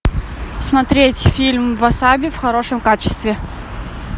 смотреть фильм васаби в хорошем качестве